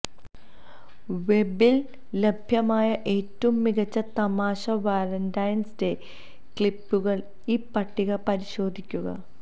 വെബിൽ ലഭ്യമായ ഏറ്റവും മികച്ച തമാശ വാലന്റൈൻസ് ഡേ ക്ലിപ്പുകൾ ഈ പട്ടിക പരിശോധിക്കുക